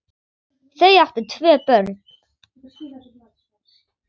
Þau áttu tvö börn